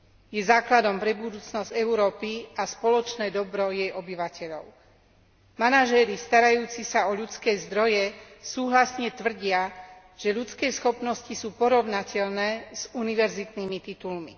Je základom pre budúcnosť Európy a spoločné dobro jej obyvateľov. Manažéri starajúci sa o ľudské zdroje súhlasne tvrdia, že ľudské schopnosti sú porovnateľné s univerzitnými titulmi.